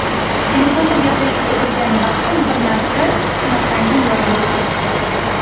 Telefonda gaplashib o‘tirgan vaqtim bir narsa shunaqangi yorilib ketdi.